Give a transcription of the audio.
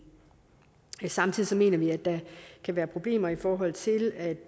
samtidig mener vi at der kan være problemer i forhold til at